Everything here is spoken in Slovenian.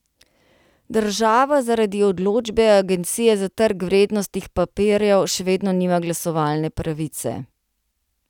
Država zaradi odločbe Agencije za trg vrednostnih papirjev še vedno nima glasovalne pravice.